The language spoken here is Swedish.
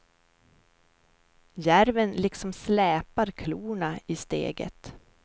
Järven liksom släpar klorna i steget.